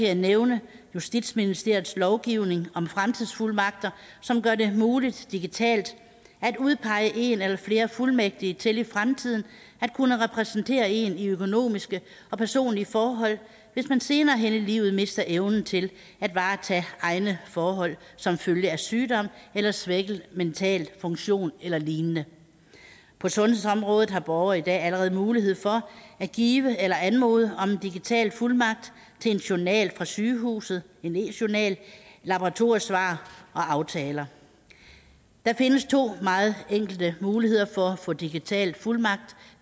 jeg nævne justitsministeriets lovgivning om fremtidsfuldmagter som gør det muligt digitalt at udpege en eller flere fuldmægtige til i fremtiden at kunne repræsentere en i økonomiske og personlige forhold hvis man senere hen i livet mister evnen til at varetage egne forhold som følge af sygdom eller svækket mental funktion eller lignende på sundhedsområdet har borgere i dag allerede mulighed for at give eller anmode om digital fuldmagt til en journal fra sygehuset en e journal laboratoriesvar og aftaler der findes to meget enkle muligheder for at få digital fuldmagt